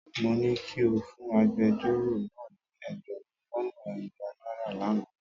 Mo ní kí o fún agbejọ́rò náà ní ẹgbẹ̀rún lọ́nà igba náírà lánàá.